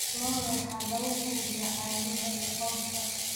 Lo'da waxaa lagu quudiyaa caleemaha iyo cawska.